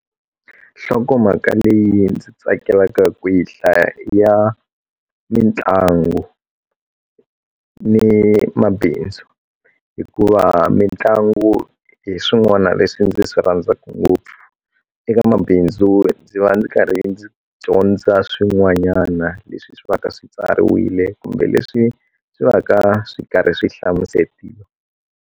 Nhlokomhaka leyi ndzi tsakelaka kwihi hlaya ya mitlangu ni mabindzu hikuva mitlangu hi swin'wana leswi ndzi swi rhandzaku ngopfu eka mabindzu ndzi va ndzi karhi ndzi dyondza swin'wanyana leswi swi va ka swi tsariwile kumbe leswi swi va ka swi karhi swi hlamusetiwa.